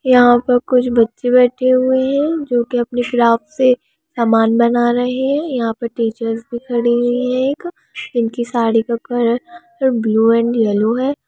यहाँ पर कुछ बच्चे बैठे हुए है जो की अपने शार्प से सामान बना रहे है यहाँ पर टीचर्स भी खड़े हुए एक जिनकी साड़ी का कलर ब्लू एंड येलो है।